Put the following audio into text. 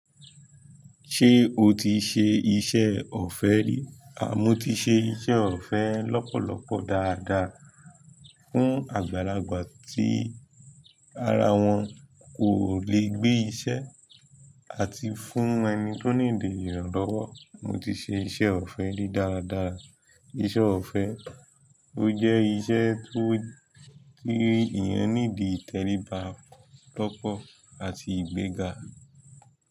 Ṣé o ti ṣe iṣẹ́ ọ̀fẹ́ rí? Mọ́ ti ṣe iṣẹ́ ọ̀fẹ́ lọ́pọ̀lọpọ̀ dáadáa fún àgbàlagbà tí ara wọn kò le gbé iṣẹ́ àti fún ẹni tó nídìí ìrànlọ́wọ́. Mo ti ṣe iṣẹ́ ọ̀fẹ́ rí dáradára. Iṣẹ́ ọ̀fẹ́, ó jẹ́ iṣẹ́ tó kí èèyàn nídi ìtẹríba ló pọ̀ àti ìgbéga.